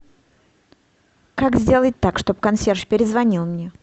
как сделать так чтобы консьерж перезвонил мне